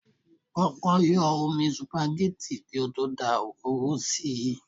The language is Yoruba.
Kọ́kọ́ yọ́ omi supagẹ́tì kí ó tó dá òróró sí i.